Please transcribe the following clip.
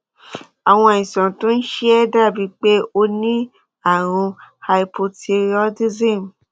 àwọn àìsàn tó ń ṣe ẹ dàbíi pé o ní ààrùn hypothyroidism